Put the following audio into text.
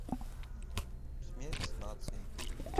смерть нации